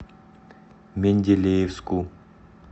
менделеевску